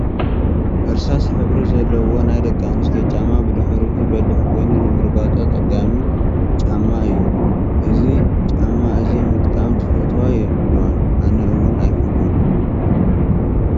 እርሳስ ሕብሪ ዘለዎ ናይ ደኣንስትዮ ጫማ ብድሕሪቱ በሊሕ ኮኑ ንምርጋፁ ኣፀጋሚ ፃማ እዩ። እዚ ጫማ እዚ ምጥቃም ዝፈትዋ የለዋን። ኣነ እውን ኣይፈትወን።